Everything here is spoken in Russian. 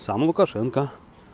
сам лукашенко